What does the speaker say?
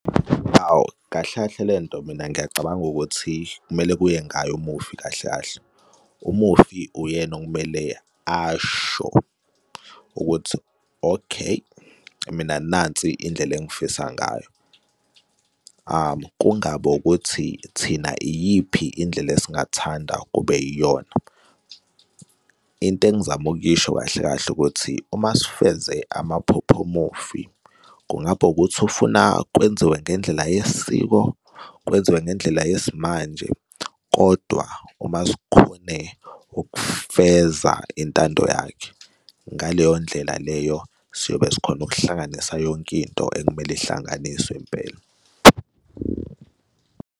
Hhawu, kahle kahle le nto mina ngiyacabanga ukuthi kumele kuye ngaye umufi kahle kahle. Umufi uyena okumele asho ukuthi, okay, mina, nansi indlela engifisa ngayo, kungabi ukuthi thina iyiphi indlela esingathanda kube yiyona. Into engizama ukuyisho kahle kahle ukuthi uma sifeze amaphupho womufi kungaba ukuthi ufuna kwenziwe ngendlela yesiko kwenziwe ngendlela yesimanje. Kodwa uma sikhone ukufeza intando yakhe ngaleyo ndlela leyo siyobe sikhona ukuhlanganisa yonke into ekumele ihlanganiswe impela.